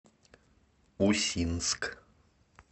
усинск